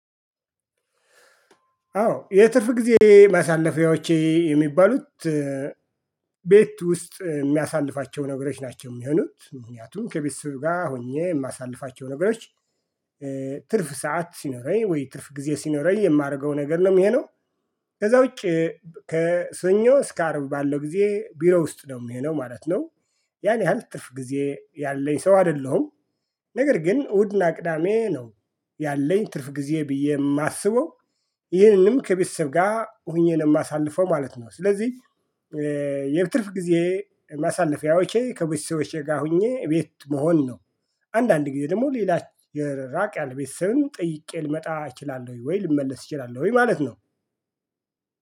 አዎ የትርፍ ጊዜ ማሳለፊያዎቼ የሚባሉት ቤት ውስጥ የሚያሳልፋቸው ነገሮች ናቸው የሚሆኑት ምክንያቱም ከቤት ስሩ ጋር ሆኜ የማሳልፋቸው ነገሮች ትርፍ ሰዓት ሲኖረኝ ወይ ትርፍ ጊዜ ሲኖረኝ የማደርገው ነገር ነው የሚሆነው ከዛ ውጪ ከሰኞ እስከ አርብ ባለው ጊዜ ቢሮ ውስጥ ነው የሚሆነው ማለት ነው። ያን ያህል ጥርፍ ጊዜ ያለኝ ሰው አይደለሁም። ነገር ግን እሁድና ቅዳሜ ነው ያለኝ ትርፍ ጊዜ ብዬ የማስበው ይህንንም ከቤተሰብ ጋር ሆኜ ነው ማሳልፈው ማለት ነው ስለዚህ የትርፍ ጊዜ ማሳለፊያዎቼ ከቦሲሶቼ ጋር ሆኜ ቤት መሆን ነው። አንዳንድ ጊዜ ደግሞ ሌላ ራቅ ያለ ቤተሰብም ጠይቄ ልመጣ እችላለሁኝ ወይ ልመለስ እችላለሁኝ ማለት ነው።